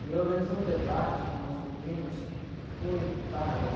E eu organizei um debate com os meninos que foi bárbaro.